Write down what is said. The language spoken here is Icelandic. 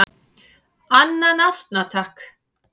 """Annan asna, takk!"""